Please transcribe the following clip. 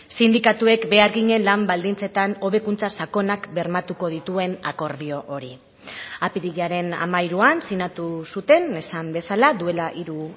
sindikatuek beharginen lan baldintzetan hobekuntza sakonak bermatuko dituen akordio hori apirilaren hamairuan sinatu zuten esan bezala duela hiru